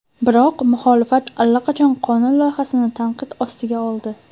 Biroq muxolifat allaqachon qonun loyihasini tanqid ostiga oldi.